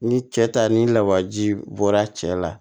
Ni cɛ ta ni lawaji bɔra cɛ la